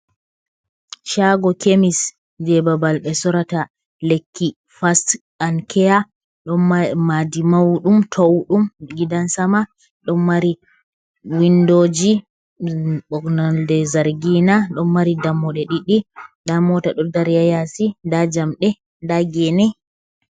Shago kemis je babal ɓe sorata lekki fas an keya. Ɗon maadi mauɗum towɗum gidan-sama, ɗon mari windoji nolde zargina, ɗon mari dammuɗe ɗiɗi, nda mota ɗo dari ha yasi, nda jamɗe, nda gene.